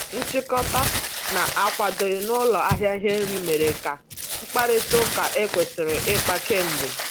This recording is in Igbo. Nchikota na-akwadoghị na ụlọ ahịa ihe nri mere ka mkparịta ụka ekwesiri ikpa k'emgbe.